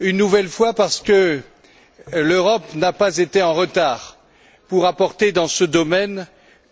Une nouvelle fois parce que l'Europe n'a pas été en retard pour apporter dans ce domaine